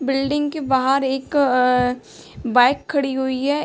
Building के बाहर एक अअ बाइक खड़ी हुई है ।